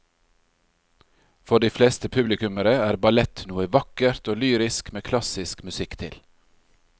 For de fleste publikummere er ballett noe vakkert og lyrisk med klassisk musikk til.